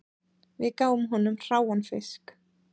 Við gáfum honum hráan fisk